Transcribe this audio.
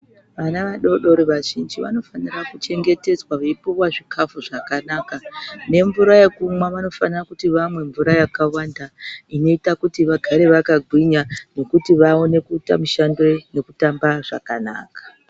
Vana vadoodori vazhinji vanofanira kuchengetedzwa veipiwa zvikafu zvakanaka nemvura yekumwa. Vanofanira kuti vamwe mvura yakawanda inoita kuti vagare vakagwinya nekuti vaone kuita mishando nekutamba zvakanaka.